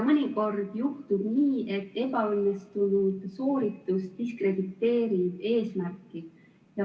Mõnikord paraku juhtub nii, et ebaõnnestunud sooritus diskrediteerib eesmärki.